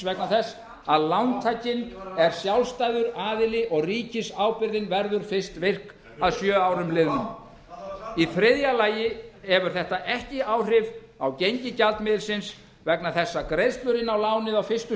vegna þess að lántakinn er sjálfstæður aðili og ríkisábyrgðin verður fyrst virk að sjö árum liðnum í vilja lagi hefur þetta ekki áhrif á gengi gjaldmiðilsins vegna þess að greiðslur inn á lánið á fyrstu